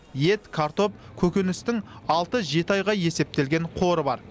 ет картоп көкөністің алты жеті айға есептелген қоры бар